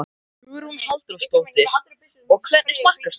Hugrún Halldórsdóttir: Og hvernig smakkast hún?